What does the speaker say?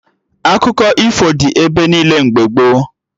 Akụkọ ifo dị ebe niile mgbe gboo